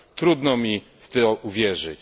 Trudno mi w to uwierzyć.